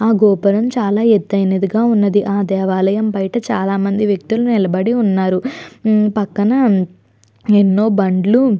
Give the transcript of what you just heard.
ఆ గోపురం చాలా ఎత్తైనదిగా ఉన్నది ఆ దేవాలయం బయట చాలా మంది వ్యక్తులు నిలబడి ఉన్నారు. పక్కన ఎన్నో బండ్లు --